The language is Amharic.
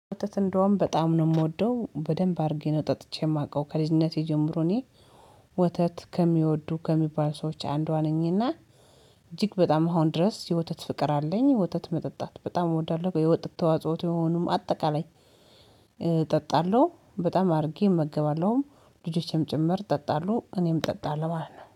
ወተት እንደውም በጣም ነው የምወደው በደንብ አድርጌ ነው ጠጥቼ የማውቀው ከልጅነቴ ጀምሮ እኔ ወተት ከሚወዱ ከሚባል ሰዎች አንዷ ነኝና። እጅግ በጣም አሁን ድረስ የወተት ፍቅር አለኝ ወተት መጠጣት በጣም እወዳለሁ የወተት ተዋጽዎ የሆኑም አጠቃላይ። እጠጣለሁ በጣም አድርጌ እመገባለሁም ልጆቼም ጭምር ይጠጣሉ እኔም ጠጣለሁ ማልት ነው